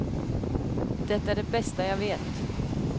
Det är det bästa jag vet.